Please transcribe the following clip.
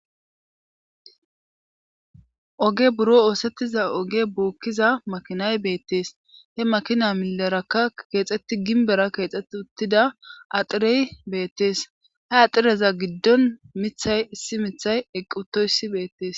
Oge buro oosettiza oge bookkiza makinay beettees he makina milerakka keexxetti ginbera keexetti uttida axirey beettees he axireza giddon mithay issi mithay eqqutoyssi beettes.